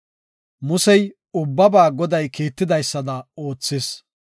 Musey, ubbaba Goday kiitidaysada oothis.